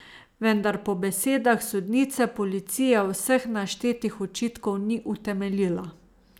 Vendar po besedah sodnice policija vseh naštetih očitkov ni utemeljila.